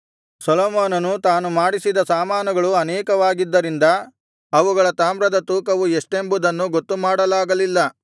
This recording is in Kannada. ಸೊಲೊಮೋನನು ತಾನು ಮಾಡಿಸಿದ ಸಾಮಾನುಗಳು ಅನೇಕವಾಗಿದ್ದರಿಂದ ಅವುಗಳ ತಾಮ್ರದ ತೂಕವು ಎಷ್ಟೆಂಬುದನ್ನು ಗೊತ್ತುಮಾಡಲಾಗಲ್ಲಿಲ್ಲ